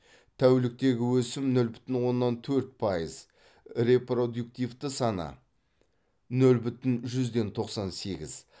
тәуліктегі өсім нөл бүтін оннан төрт пайыз репродуктивті саны нөл бүтін жүзден тоқсан сегіз